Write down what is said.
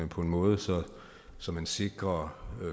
på en måde så man sikrer